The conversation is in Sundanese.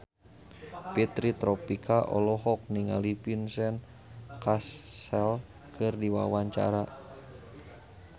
Fitri Tropika olohok ningali Vincent Cassel keur diwawancara